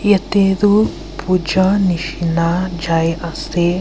yate toh puja nishe na jai ase.